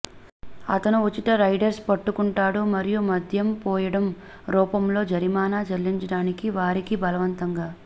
అతను ఉచిత రైడర్స్ పట్టుకుంటాడు మరియు మద్యం పోయడం రూపంలో జరిమానా చెల్లించడానికి వారికి బలవంతంగా